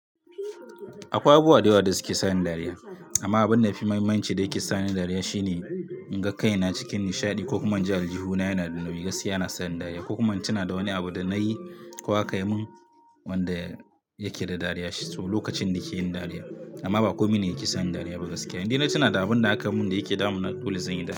Akwai abubuwa da yawa da suke sa ni dariya amma abun da ya fi mahimanci da yake sani dariya shine in ga kaina cikin nishaɗi ko kuma in ji aljuhu na yana da nauyi gaskiya na sani dariya ko kuma ina tuna da wani abu da na yi ko aka yi min wanda yake da dariya lokacin da ke yin dariya. Amma ba komai ne yake sani dariya ba gaskiya. Inda ina tuna da abun da aka mun da yake damuna dole zanyi dariya.